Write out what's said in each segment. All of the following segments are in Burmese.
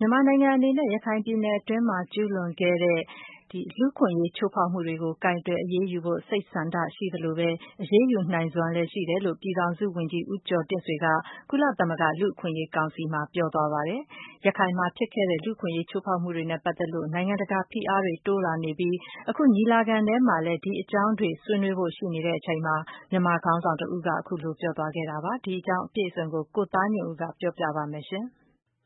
မြန်မာ နိုင်ငံအနေနဲ့ ရခိုင်ပြည်နယ်အတွင်း ကျူးလွန်ခဲ့တဲ့ လူ့အခွင့်အရေးချိုးဖောက်မှုတွေကို ကိုင်တွယ်အရေးယူဖို့ စိတ်ဆန္ဒရှိသလိုပဲ၊ အရေးယူနိုင်စွမ်းလည်း ရှိတယ်လို့ ပြည်ထောင်စုဝန်ကြီး ဦးကျော်တင့်ဆွေက ကုလသမဂ္ဂလူ့အခွင့်အရေးကောင်စီမှာ ပြောသွားပါတယ်။ ရခိုင်မှာဖြစ်ခဲ့တဲ့ လူ့အခွင့်အရေးချိုးဖောက်မှုတွေနဲ့ ပတ်သက်လို့ နိုင်ငံတကာ ဖိအားတွေ တိုးလာပြီး အခု ညီလာခံအတွင်းမှာလည်း ဒီအကြောင်းတွေ ဆွေးနွေးဖို့ရှိချိန်မှာ မြန်မာခေါင်းဆောင်တဦးက အခုလို ပြောဆိုသွားတာပါ။ ဒီအကြောင်းအပြည့်အစုံ ကိုသားညွန့်ဦး ပြောပြမှာပါ။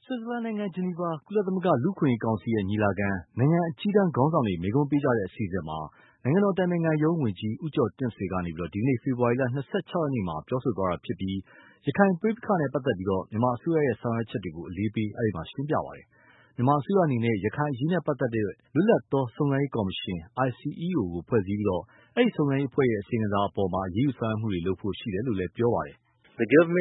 ဆွီဇာလန်နိုင်ငံ ဂျနီဗာ ကုလသမဂ္ဂလူ့အခွင့်အရေးကောင်စီ ညီလာခံ - နိုင်ငံအကြီးတန်း ခေါင်းဆောင်တွေ မိန့်ခွန်းပေးကြတဲ့ အစီအစဉ်မှာ နိုင်ငံတော်အတိုင်ပင်ခံရုံးဝန်ကြီး ဦးကျော်တင့်ဆွေက ဒီကနေ့ ဖေဖဝါရီလ ၂၆ ရက်နေ့မှာ ပြောဆိုသွားတာဖြစ်ပြီး၊ ရခိုင်ပဋိပက္ခနဲ့ ပတ်သက်လို့ မြန်မာအစိုးရရဲ့ ဆောင်ရွက်ချက်တွေကို အလေးပေးရှင်းပြခဲ့ပါတယ်။ မြန်မာအစိုးရအနေနဲ့ ရခိုင်အရေးနဲ့ ပတ်သက်လို့ လွတ်လပ်သောစုံစမ်းရေးကော်မရှင် ICEO ဖွဲ့စည်းပြီး၊ အဲဒီ စုံစမ်းရေးအဖွဲ့ရဲ့ အစီရင်ခံစာပေါ် အရေးယူဆောင်ရွက်မှုတွေလုပ်ဖို့ ရှိတယ်လို့လည်း ပြောသွား တာပါ။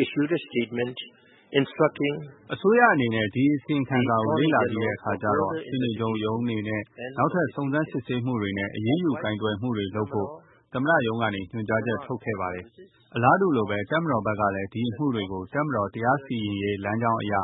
“အစိုးရအနေနဲ့ ဒီ အစီရင်ခံစာကို လေ့လာပြီးတဲ့အခါကျတော့ ရှေနေချုပ်ရုံးအနေနဲ့ နောက်ထပ် စုံစမ်းစစ်ဆေးမှုတွေနဲ့ အရေးယူကိုင်တွယ်မှုတွေလုပ်ဖို့ သမ္မတရုံးကနေ ညွှန်ကြားချက်ထုတ်ခဲ့ပါတယ်။ အလားတူလိုပဲ တပ်မတော်ဘက်ကလည်း ဒီအမှုတွေကို တပ်မတော်တရားစီရင်ရေးလမ်းကြောင်းအရ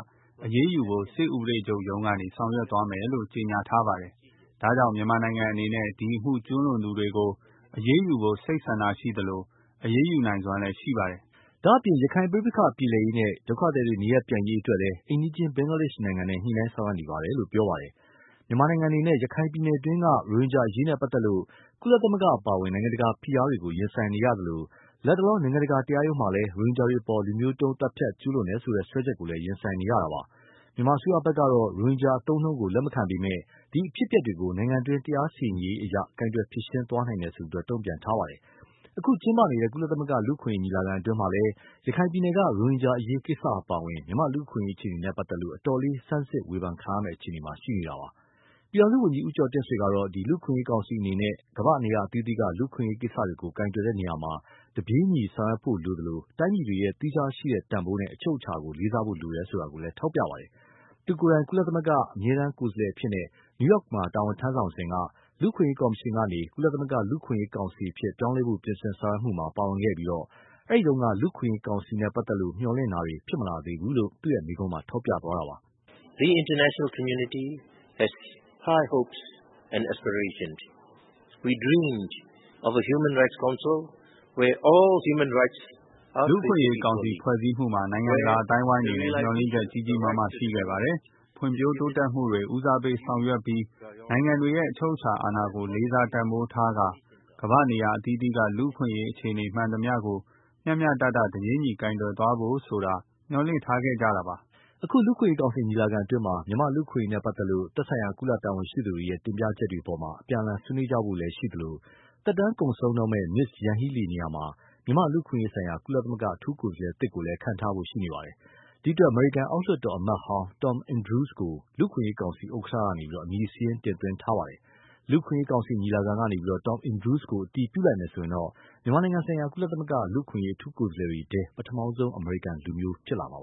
အရေးယူဖို့ စစ်ဥပဒေချုပ်ရုံးကနေ ဆောင်ရွက်သွားမယ်လို့ ကြေညာထားပါတယ်။ ဒါကြောင့် မြန်မာနိုင်ငံ အနေနဲ့ ဒီ အမှုကျူးလွန်သူတွေကို အရေးယူဖို့ စိတ်ဆန္ဒရှိသလို အရေးယူ လုပ်နိုင်စွမ်းလည်း ရှိပါတယ်။” ဒါ့အပြင် ရခိုင်ပဋိပက္ခပြေလည်ရေးနဲ့ ဒုက္ခသည်တွေ နေရပ်ပြန်ရေးအတွက်လည်း အိမ်နီးချင်း ဘင်္ဂလားဒေ့ရှ်နိုင်ငံနဲ့ ညှိနှိုင်းဆောင်ရွက်နေတယ်လို့ ပြောပါတယ်။ မြန်မာနိုင်ငံအနေနဲ့ ရခိုင်ပြည်နယ်တွင်းက ရိုဟင်ဂျာအရေးနဲ့ပတ်သက်လို့ ကုလသမဂ္ဂအပါအဝင် နိုင်ငံတကာဖိအားတွေကို ရင်ဆိုင်နေရသလို လတ်တလော နိုင်ငံတကာတရားရုံးမှာလည်း ရိုဟင်ဂျာတွေအပေါ် လူမျိုးတုံးသတ်ဖြတ်မှု ကျူးလွန်တယ်ဆိုတဲ့ စွဲချက်ကိုလည်း ရင်ဆိုင်နေရတာပါ။ မြန်မာအစိုးရကတော့ ရိုဟင်ဂျာအသုံးအနှုန်းကို လက်မခံပေမယ့်လည်း၊ ဒီ အဖြစ်အပျက်တွေကို နိုင်ငံတွင်း တရားစီရင်ရေးအရ ကိုင်တွယ်ဖြေရှင်းသွားနိုင်တယ်လို့ တုံ့ပြန်ထားပါတယ်။ အခု ကျင်းပနေတဲ့ ကုလသမဂ္ဂလူ့အခွင့်အရေးညီလာခံအတွင်းမှာလည်း ရခိုင်ပြည်နယ်က ရိုဟင်ဂျာအရေးကိစ္စအပါဝင် မြန်မာ့လူ့အခွင့်အရေးအခြေအနေနဲ့ပတ်သက်လို့ အတော်လေး ဆန်းစစ် ဝေဖန်ခံရမယ့်အခြေအနေမှာရှိနေတာပါ။ ပြည်ထောင်စုဝန်ကြီးဦးကျော်တင့်ဆွေကတော့ လူ့အခွင့်အရေး ကောင်စီအနေနဲ့ ကမ္ဘာ့နေရာအသီးသီးက လူ့အခွင့်အရေးကိစ္စတွေကို ကိုင်တွယ်တဲ့နေရာမှာ တပြေးညီ ဆောင်ရွက်ဖို့လိုသလို၊ တိုင်းပြည်တွေရဲ့ သီးခြားရှိတဲ့တန်ဖိုးနဲ့ အချုပ်အခြာကို လေးစားဖို့လိုတယ်ဆိုတာ ထောက်ပြပါတယ်။ သူကိုယ်တိုင် ကုလသမဂ္ဂ အမြဲတမ်းကိုယ်စားလှယ်အဖြစ် နယူးယောက်မှာ တာဝန်ထမ်းစဉ်က လူ့အခွင့်အရေးကော်မရှင်ကနေ ကုလသမဂ္ဂလူ့အခွင့်အရေးကောင်စီအဖြစ် ပြောင်းလဲဖို့ ပြင်ဆင်ဆောင်ရွက်မှုမှာ ပါဝင်ခဲ့ပြီး၊ အဲဒီတုန်းက လူ့အခွင့်အရေးကောင်စီနဲ့ပတ်သက်လို့ မျှော်လင့်ထားတာတွေ ဖြစ်မလာသေးဘူးလို့ အခု သူ့မိန့်ခွန်းမှာ ထောက်ပြခဲ့တာပါ။ “လူ့အခွင့်အရေးကောင်စီဖွဲ့စည်းမှုမှာ နိုင်ငံတကာအသိုင်းအဝိုင်းအနေနဲ့ မျှော်လင့်ချက် ကြီးကြီးမားမားရှိခဲ့ပါတယ်။ လူ့အခွင့်အရေးကောင်စီအတွင်းမှာ ဖွံဖြိုးတိုးတက်မှုတွေ ဦးစားပေး ဆောင်ရွက်ပြီး နိုင်ငံတွေရဲ့အချုပ်အခြာကိုလေးစားတန်ဖိုးထားကာ ကမ္ဘာ့နေရာ အသီးအသီးက လူ့အခွင့်အရေး အခြေအနေမှန်သမျှကို မျှမျှတတ တပြေးညီ ကိုင်တွယ်သွားဖို့ ဆိုတာမျှော်လင့်ထားခဲ့ကြတာပါ။” အခု လူ့အခွင့်အရေးကောင်စီ ညီလာခံအတွင်းမှာ မြန်မာလူ့အခွင့်အရေးနဲ့ပတ်သက်လို့ သက်ဆိုင်ရာ ကုလတာဝန်ရှိသူတွေရဲ့ တင်ပြချက်တွေအပေါ် အပြန်အလှန်ဆွေးနွေးကြဖို့လည်း ရှိသလို၊ သက်တမ်းကုန်ဆုံးတော့မယ့် Ms.Yanghee Lee နေရာမှာမြန်မာလူ့အခွင့်အရးဆိုင်ရာ ကုလ အထူးကိုယ်စားလှယ်သစ်ကိုလည်း ခန့်ထားဖို့ ရှိနေပါတယ်။ ဒီအတွက် အမေရိကန်အောက်လွှတ်တော် အမတ်ဟောင်း Tom Andrews ကို လူ့အခွင့်အရေးကောင်စီ ဥက္ကဌက အမည်စာရင်း တင်သွင်းထားပါတယ်။ လူ့အခွင့်အရေးကောင်စီ ညီလာခံကနေ Tom Andrews ကို အတည်ပြုမယ်ဆိုရင်တော့ မြန်မာနိုင်ငံဆိုင်ရာ ကုလလူ့အခွင့်အရေးအထူးကိုယ်စားလှယ်တွေထဲ ပထမဆုံး အမေရိကန်နိုင်ငံသားဖြစ်လာမှာပါ